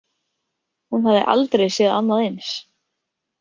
Hún hafði aldrei séð annað eins.